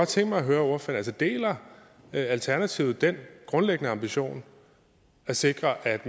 tænke mig at høre ordføreren deler alternativet den grundlæggende ambition at sikre at